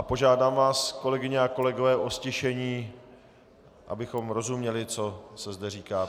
A požádám vás, kolegyně a kolegové o ztišení, abychom rozuměli, co se zde říká.